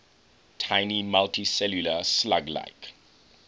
tiny multicellular slug like